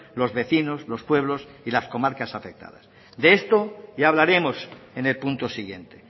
los vecinos los pueblos y las comarcas afectadas de esto ya hablaremos en el punto siguiente